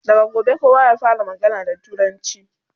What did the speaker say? daga gobe kowa ya fara magana da turanci!